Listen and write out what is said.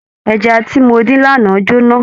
Ẹja tí mo dín lánàá jóná.